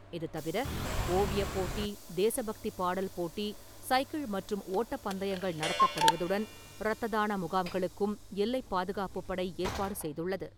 இது தவிர ஓவியப்போட்டி, தேசப் பக்தி பாடல் போட்டி, சைக்கிள் மற்றும் ஓட்டப் பந்தயங்கள் நடத்தப்படுவதுடன் ரத்த தான முகாம்களுக்கும் எல்லைப் பாதுகாப்புப் படை ஏற்பாடு செய்துள்ளது.